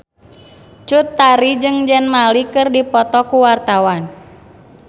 Cut Tari jeung Zayn Malik keur dipoto ku wartawan